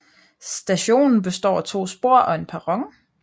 Stationen består af to spor og en perron